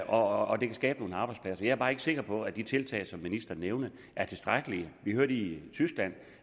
og det kan skabe nogle arbejdspladser jeg er bare ikke sikker på at de tiltag som ministeren nævnte er tilstrækkelige vi hørte i tyskland